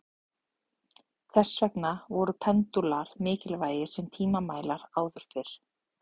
Þess vegna voru pendúlar mikilvægir sem tímamælar áður fyrr.